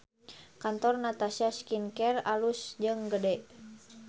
Kantor Natasha Skin Care alus jeung gede